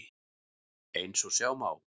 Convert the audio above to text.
Eins og sjá má á